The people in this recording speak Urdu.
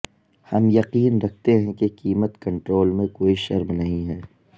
ہم یقین رکھتے ہیں کہ قیمت کنٹرول میں کوئی شرم نہیں ہے